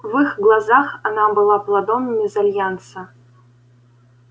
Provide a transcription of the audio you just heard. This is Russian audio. в их глазах она была плодом мезальянса